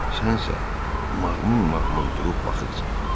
Sənsə maqmum-maqmum durub baxırsan.